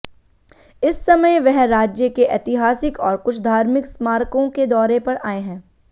इस समय वह राज्य के ऐतिहासिक और कुछ धार्मिक स्मारकों के दौरे पर आए हैं